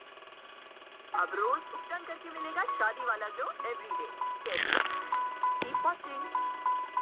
ਕਰਕੇ ਮਿਲੇਗਾ ਸ਼ਾਦੀ glow everyday ਕੈਸੇ